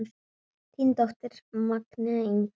Þín dóttir, Magnea Inga.